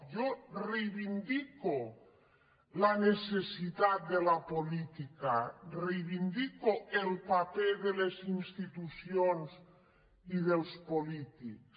jo reivindico la necessitat de la política reivindico el paper de les institucions i dels polítics